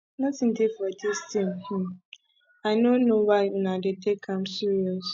nothin dey for dis thing um oo i no know why una dey take am serious